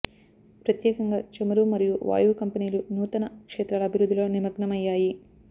ప్రత్యేకంగా చమురు మరియు వాయువు కంపెనీలు నూతన క్షేత్రాల అభివృద్ధిలో నిమగ్నమయ్యాయి